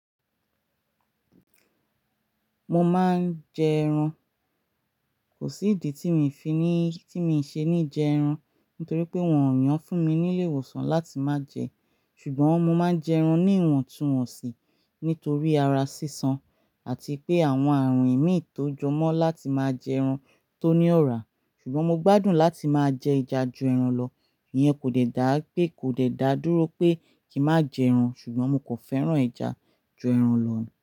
Mo máa ń jẹ ẹran. Kò sí ìdí tí mi fi ní, tí mi ṣe ní jẹ ẹran nítorí pé wọn ò yàn fún mi ní ilé ìwòsàn láti má jẹ ṣùgbọ́n mo máa ń jẹ ẹran ní ìwọ̀ntúnwọ̀nsì, nítorí ara sísan àti pé àwọn àrùn ìmíì tó jọ mọ́ láti máa jẹ ẹran tó ní ọ̀rá. Ṣùgbọ́n mo gbádùn láti máa jẹ ẹja ju ẹran lọ. Ìyẹn kò dẹ̀ da, pé kò dẹ̀ da dúró pé. Kí má jẹ ẹran ṣùgbọ́n mo kan fẹ́ràn ẹja ju ẹran lọ.